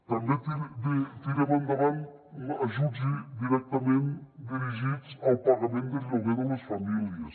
també tirem endavant ajuts directament dirigits al pagament del lloguer de les famílies